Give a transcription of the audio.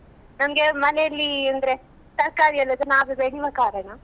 ನಮ್ಗೆ ಮನೇಲಿ ಅಂದ್ರೆ ತರ್ಕಾರಿ ಎಲ್ಲ ಅದು ನಾವೇ ಬೆಳಿವ ಕಾರಣ.